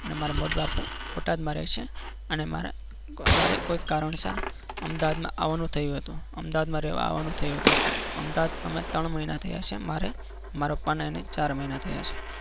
અને મારા મોટા બાપુ બોટાદમાં રહે છે અને મારા અમારે કોઈ કારણસર અમદાવાદમાં આવવાનું થયું હતું અમદાવાદમાં રહેવા આવવાનું થયું હતું અમદાવાદ અમે ત્રણ મહિના રહ્યા છીએ મારે મારા પપ્પાને ચાર મહિના થયા છે.